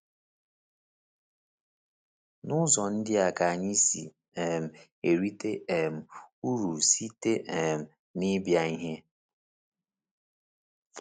N’ụzọ ndị a ka anyị si um erite um uru site um n’ịbịa n’ìhè?